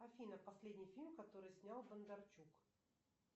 афина последний фильм который снял бондарчук